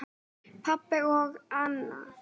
Pabbi og Anna.